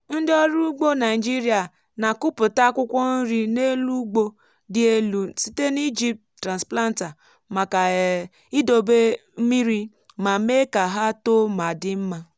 ndị ọrụ ugbo naịjirịa na-akụpụta akwụkwọ nri n’elu ugbo dị elu site n’iji transplanter maka um idobe mmiri ma mee ka ha too ma dimma.